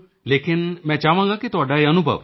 ਲੇਕਿਨ ਮੈਂ ਚਾਹਾਂਗਾ ਕਿ ਤੁਹਾਡਾ ਇਹ ਅਨੁਭਵ